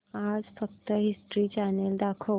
आज फक्त history channel दाखव